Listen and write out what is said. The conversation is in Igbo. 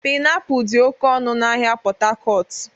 Pịnapụl dị oke ọnụ n'ahịa Pot Tarcot.